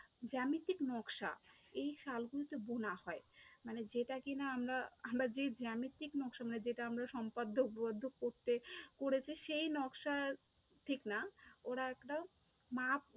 জ্যামিতিক নকশা, এই শাল গুলিতে বোনা হয়, মানে যেটা কি না আমরা আমরা যে জ্যামিতিক নকশা মানে যেটা আমরা সমপাদ্য উপপাদ্য করতে, করেছি সেই নকশা ঠিক না ওরা একটা মাপ